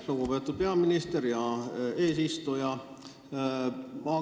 Lugupeetud peaminister!